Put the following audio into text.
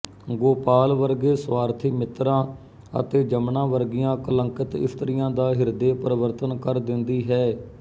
ਗੋਪਾਲ ਵਰਗੇ ਸੁਆਰਥੀ ਮਿੱਤਰਾਂ ਅਤੇ ਜਮਨਾ ਵਰਗੀਆਂ ਕਲੰਕਿਤ ਇਸਤਰੀਆਂ ਦਾ ਹਿਰਦੇ ਪਰਿਵਰਤਨ ਕਰ ਦਿੰਦੀ ਹੈ